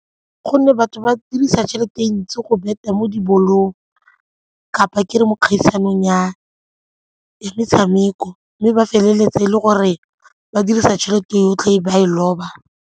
Gonne batho ba dirisa tšhelete e ntsi go bet-a mo dibolong kapa ke re mo dikgaisanong ya metshameko mme ba feleletsa e le gore ba dirisa tšhelete yotlhe e ba e loba.